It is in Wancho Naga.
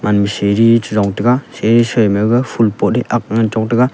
unshe ri cherong taega che sai mai ga ful pot ae agg chong taega.